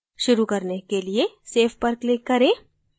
शुरू करने के लिए save पर click करें